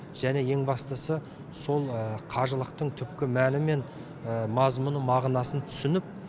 және ең бастысы сол қажылықтың түпкі мәні мен мазмұны мағынасын түсініп